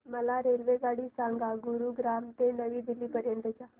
मला रेल्वेगाडी सांगा गुरुग्राम ते नवी दिल्ली पर्यंत च्या